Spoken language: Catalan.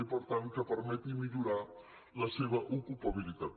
i per tant que permeti millorar la seva ocupabilitat